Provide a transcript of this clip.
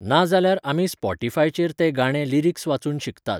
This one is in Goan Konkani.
नाजाल्यार आमी स्पोटिफायफाचेर तें गाणें लिरिक्स वाचून शिकतात.